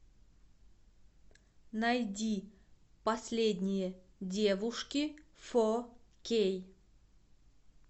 найди последние девушки фо кей